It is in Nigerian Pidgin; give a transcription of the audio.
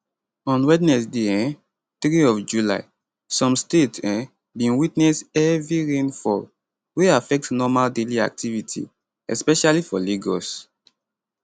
on wednesday um 3 of july some states um bin witness heavy rain fall wey affect normal daily activity especially for lagos